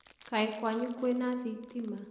Kaĩ kwanyu kwĩ na thitima?